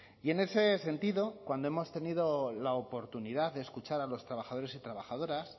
y en ese sentido cuando hemos tenido la oportunidad de escuchar a los trabajadores y trabajadoras